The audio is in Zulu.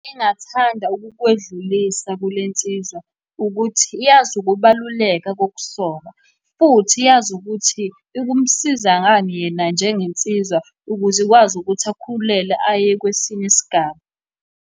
Ngingathanda ukukwedlulisa kule nsizwa ukuthi, yazi ukubaluleka kokusoka futhi yazi ukuthi kumsiza ngani yena njengensizwa ukuze ikwazi ukuthi akhulelwe aye kwesinye isigaba.